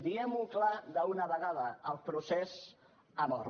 diguem ho clar d’una vegada el procés ha mort